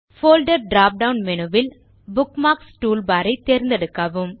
folder drop down menu ல் bookmarks toolbarரை தேர்ந்தெடுக்கவும்